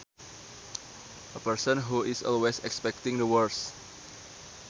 A person who is always expecting the worst